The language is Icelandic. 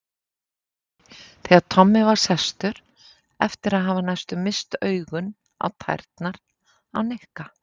Nikki þegar Tommi var sestur eftir að hafa næstum misst augun á tærnar á Nikka.